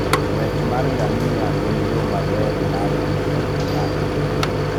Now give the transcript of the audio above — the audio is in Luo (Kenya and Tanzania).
Ng'wech mar ngamia en yo maber mar rito ngima e thim.